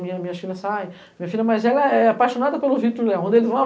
Minhas minhas filhas saem, minha filha mai velha é é apaixonada pelo Victor Leão. Onde eles vão